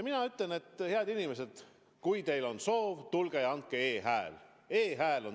Mina ütlen: head inimesed, kui teil on soov, tulge ja andke e-hääl!